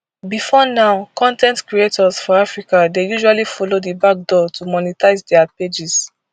bifor now con ten t creators for africa dey usually follow di back door to monetise dia pages